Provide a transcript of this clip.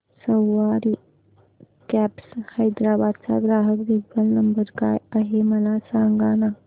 सवारी cabs Hyderabad चा ग्राहक देखभाल नंबर काय आहे मला सांगाना